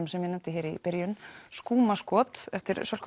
sem ég nefndi hér í byrjun skúmaskot eftir Sölku